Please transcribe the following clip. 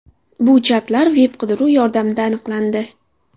Bu chatlar veb-qidiruv yordamida aniqlandi.